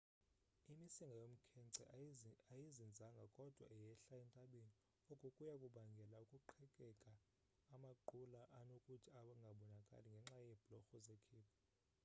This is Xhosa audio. imisinga yomkhence ayizinzanga kodwa yehla entabeni oku kuya kubangela ukuqhekeka amaqula anokuthi angabonakali ngenxa yeebhlorho zekhephu